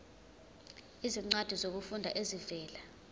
izincwadi zokufunda ezivela